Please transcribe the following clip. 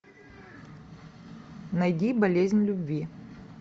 найди болезнь любви